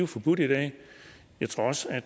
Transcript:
forbudt i dag jeg tror også at